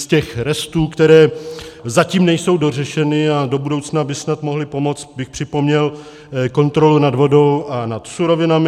Z těch restů, které zatím nejsou dořešeny a do budoucna by snad mohly pomoci, bych připomněl kontrolu nad vodou a nad surovinami.